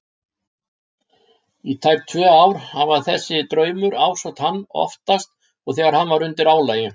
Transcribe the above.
Í tæp tvö ár hafði þessi draumur ásótt hann- oftast þegar hann var undir álagi.